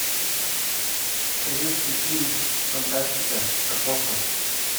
советский фильм фантастика про космос